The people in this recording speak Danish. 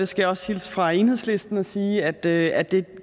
skal også hilse fra enhedslisten og sige at det at det